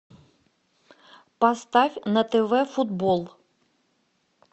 поставь на тв футбол